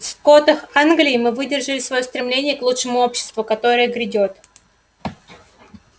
в скотах англии мы выражали своё стремление к лучшему обществу которое грядёт